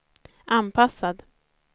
anpassad